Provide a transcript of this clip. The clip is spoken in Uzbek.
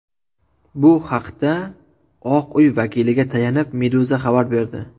Bu haqda Oq uy vakiliga tayanib Meduza xabar berdi .